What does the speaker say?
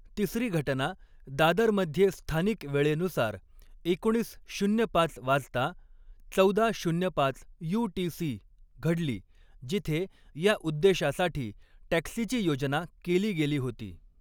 तिसरी घटना दादरमध्ये स्थानिक वेळेनुसार एकोणीस शून्य पाच वाजता चौदा शून्य पाच यु.टी.सी. घडली, जिथे या उद्देशासाठी टॅक्सीची योजना केली गेली होती.